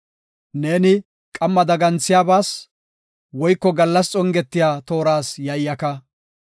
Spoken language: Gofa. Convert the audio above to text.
Neeni qamma daganthiyabas, woyko gallas xongetiya tooras yayyaka.